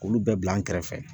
Olu bɛɛ bila an kɛrɛfɛ